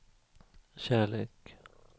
kärlek